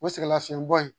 O sɛgɛnlafiɲɛbɔ in